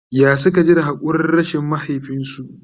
ya Suka ji da hakurin rashin mahaifinsu?